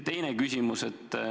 Teine küsimus.